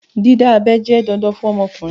Dídábẹ́ jẹ́ dandan fún ọmọkùnrin